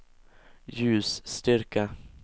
ljusstyrka